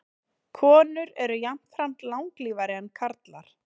Konur eru jafnframt langlífari en karlar.